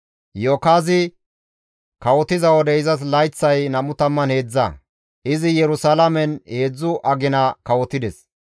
Iyo7akaazi kawotiza wode izas layththay 23; izi Yerusalaamen heedzdzu agina kawotides.